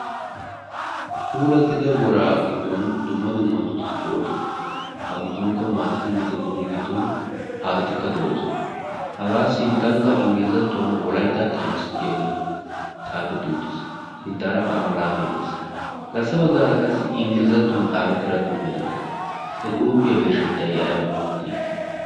puulattida woraa giddon duma dumma duussi de7oosona a giddonkka maatati mittatinne giddon haatatikka de'oosona hagaa sinttankka inggilizattuwan wolayttaa taymisi giyaagee xaafetti uttiis sinttaarakka amalaatai de'es garssa baggaara qassi inggilizattuwan xaafettiira xuufi de'ees he xuufiyaa birshshettai aybaa geetettii